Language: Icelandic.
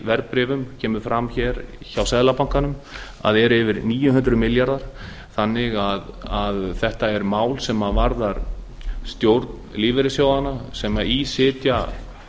verðbréfum kemur fram hér hjá seðlabankanum eru yfir níu hundruð milljarðar þetta er því mál sem varðar stjórn lífeyrissjóðanna sem í sitja